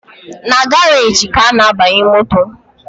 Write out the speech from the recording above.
Na garaji ka a na-abanye moto